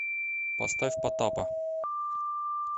поставь потапа